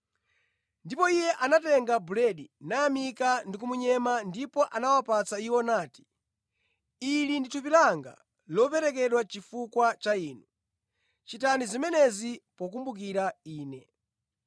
Ndipo Iye anatenga buledi, nayamika ndipo anamunyema, nagawira iwo nati, “Ili ndi thupi langa lomwe laperekedwa kwa inu; muzichita zimenezi pokumbukira Ine.”